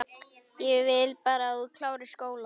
Ég vil bara að þú klárir skólann